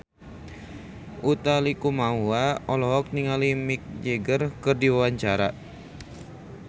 Utha Likumahua olohok ningali Mick Jagger keur diwawancara